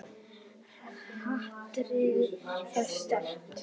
Hatrið er sterkt.